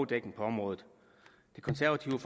dækning på området det konservative